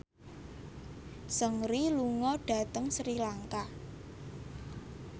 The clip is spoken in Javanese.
Seungri lunga dhateng Sri Lanka